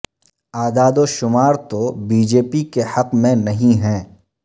اعداد و شمار تو بی جے پی کے حق میں نہیں ہیں